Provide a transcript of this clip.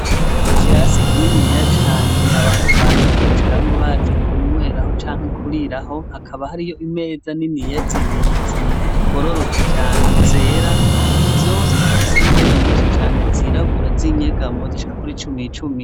Ikirasi kininiya cane abantu baza kwicaramwo baje kunyweraho canke kuriraho hakaba hariho imeza niniya zibiri zigororotse cane zera, zose zifise intebe nyinshi cane zirabura z'inyegamo zishika kuri cumi cumi.